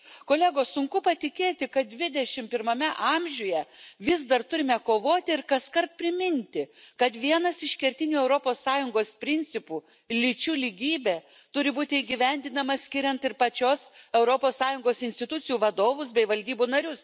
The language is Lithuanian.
Kolegos, sunku patikėti, kad 21 amžiuje vis dar turime kovoti ir kaskart priminti, kad vienas iš kertinių Europos Sąjungos principų lyčių lygybė turi būti įgyvendinamas skiriant ir pačios Europos Sąjungos institucijų vadovus bei valdybų narius.